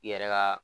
I yɛrɛ ka